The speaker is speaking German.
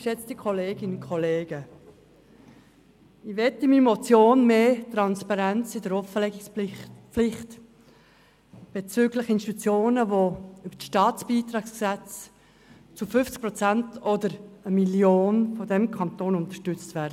Mit meiner Motion strebe ich mehr Transparenz in der Offenlegungspflicht von Institutionen an, die über das Staatsbeitragsgesetz (StBG) zu 50 Prozent oder mit 1 Mio. Franken vom Kanton unterstützt werden.